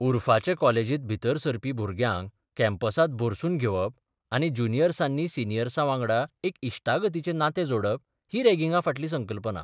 उरफाचें कॉलेजींत भितर सरपी भुरग्याक कॅम्पसांत भरसून घेवप आनी ज्युनियर्सानी सिनियर्सी वांगडा एक इश्टागतीचें नातें जोडप ही रॅगिंगा फाटली संकल्पना.